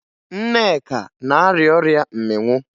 Nneka na-arịa ọrịa mmịnwụ